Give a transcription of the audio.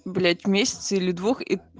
блять месяца или двух